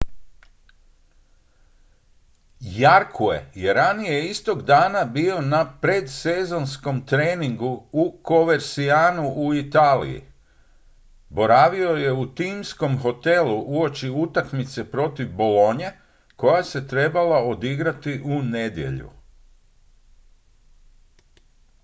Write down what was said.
jarque je ranije istog dana bio na predsezonskom treningu u covercianu u italiji boravio je u timskom hotelu uoči utakmice protiv bologne koja se trebala odigrati u nedjelju